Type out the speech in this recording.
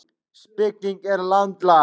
Spilling er landlæg